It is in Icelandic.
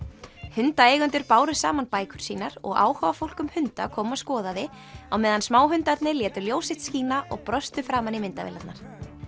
hundaeigendur báru saman bækur sínar og áhugafólk um hunda kom og skoðaði á meðan létu ljós sitt skína og brostu framan í myndavélarnar